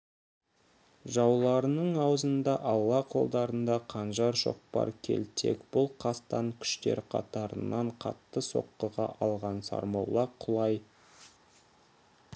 жауларының аузында алла қолдарында қанжар шоқпар келтек бұл қастан күштер қатарынан қатты соққыға алған сармолла құлай